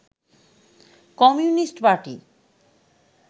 communist party